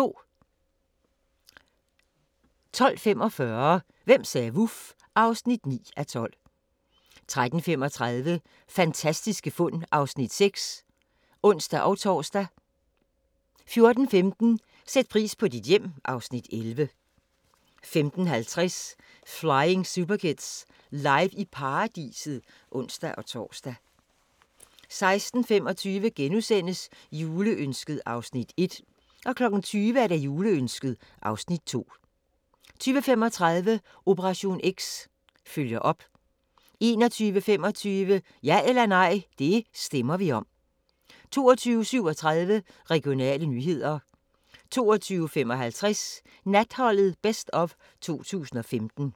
12:45: Hvem sagde vuf? (9:12) 13:35: Fantastiske fund (Afs. 6)(ons-tor) 14:15: Sæt pris på dit hjem (Afs. 11) 15:50: Flying Superkids – Live i Paladset (ons-tor) 16:25: Juleønsket (Afs. 1)* 20:00: Juleønsket (Afs. 2) 20:35: Operation X – følger op 21:25: Ja eller nej – det stemmer vi om 22:37: Regionale nyheder 22:55: Natholdet Best of 2015